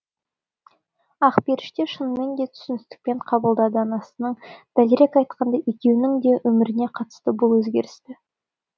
ақперіште шынымен де түсіністікпен қабылдады анасының дәлірек айтқанда екеуінің де өміріне қатысты бұл өзгерісті